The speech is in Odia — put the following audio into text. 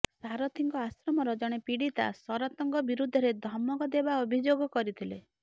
ସାରଥିଙ୍କ ଆଶ୍ରମର ଜଣେ ପୀଡିତା ଶରତଙ୍କ ବିରୋଧରେ ଧମକ ଦେବା ଅଭିଯୋଗ କରିଥିଲେ